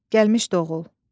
Gəlmişdi oğul.